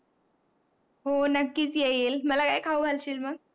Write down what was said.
हो, नक्कीच येईल. मला काय खाऊ घालशील मग?